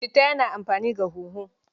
Citta yana da amfani ga huhu.